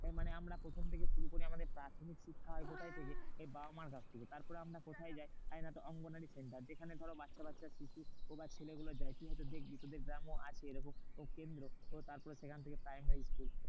এ মানে আমার প্রথম থেকে শুরু করে আমাদের প্রাথমিক শিক্ষা হয় কোথায় থেকে? বাবা মায়ের কাছ থেকে। তারপরে আমরা কোথায় যাই? অঙ্গনওয়াড়ি centre. যেখানে ধরো বাচ্চা বাচ্চা শিশু বা ছেলেগুলো যায়। তুই হয়তো দেখবি, তোদের গ্রামেও আছে এরকম কেন্দ্র। তারপরে সেখান থেকে primary school